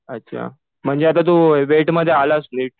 अच्छा. म्हणजे आता तु वेटमध्ये आलास नीट?